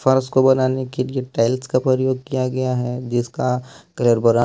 पर उसको बनाने के लिए टाइल्स का प्रयोग किया गया है जिसका कलर बरा--